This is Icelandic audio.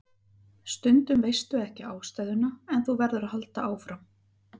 Stundum veistu ekki ástæðuna en þú verður að halda áfram.